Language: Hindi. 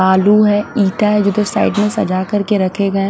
आलू है इत्ता है जो की साइड में सजा कर के रखे गये।